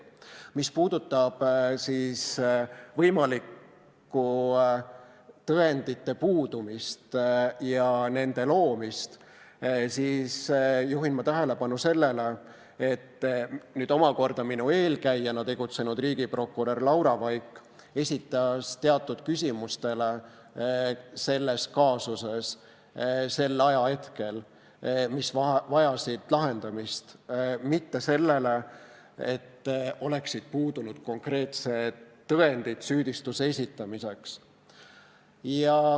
Mis puudutab võimalikku tõendite puudumist ja nende loomist, siis juhin tähelepanu sellele, et omakorda minu eelkäijana tegutsenud riigiprokurör Laura Vaik osutas selles kaasuses sel ajahetkel teatud küsimustele, mis vajasid lahendamist, mitte sellele, et oleksid puudunud konkreetsed tõendid süüdistuse esitamiseks.